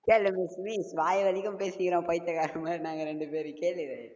வாய் வலிக்கும் பேசிக்கிறோம் பைத்தியக்காரன் மாதிரி நாங்க ரெண்டு பேரும், கேளு